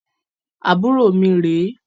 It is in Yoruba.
Àbúrò mi rè e